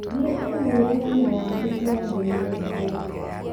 Thiĩ i-mīrū inĩ na wandĩkĩre ndũmĩrĩri kũrĩ: